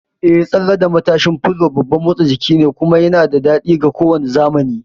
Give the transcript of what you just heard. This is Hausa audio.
Eh, tsalle da matashin fulo babban motsa jiki ne, kuma yana da daɗi ga kowane zamani!